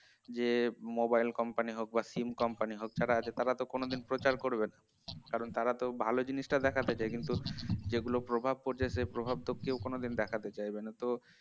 যে mobile company হোক বা sim company হোক যারা আছে তারা তো কোনোদিন প্রচার করবে না তারা তো ভাল জিনিসটা দেখাতে চায় কিন্তু যেগুলা প্রভাব পড়ছে সে প্রভাব তো কেউ কোনদিন দেখাতে চাইবে না তো